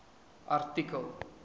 artikel